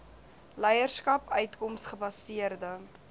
leierskap uitkoms gebaseerde